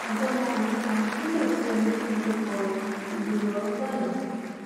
ọdọmọkùnrin kan tí kò sí ẹni tó mọ orúkọ rẹ ti dèrò ọrun báyìí